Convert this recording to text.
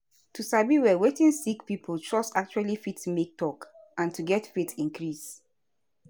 to sabi well wetin sick pipo trust actually fit make talk and to get faith increase